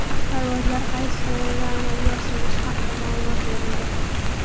Parvozlar qaysi sanadan amalga oshirilishi haqida ma’lumot berildi.